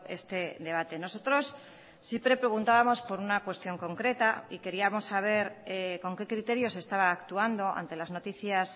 este debate nosotros siempre preguntábamos por una cuestión concreta y queríamos saber con qué criterios se estaba actuando ante las noticias